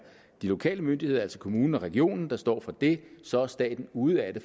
de lokale myndigheder altså kommunen og regionen der står for det så er staten ude af det